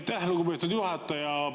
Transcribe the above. Aitäh, lugupeetud juhataja!